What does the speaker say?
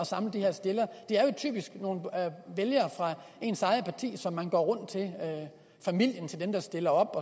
samle de her stillere det er jo typisk nogle vælgere fra ens eget parti som man går rundt til familien til dem der stiller op